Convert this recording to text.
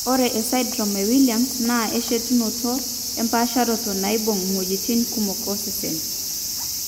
Ore esindirom eWilliams naa enchetunoto empaasharoto naibung' iwuejitin kumok osesen.